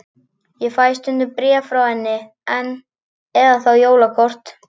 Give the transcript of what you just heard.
Ég fæ stundum bréf frá henni enn, eða þá jólakort.